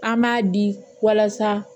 An b'a di walasa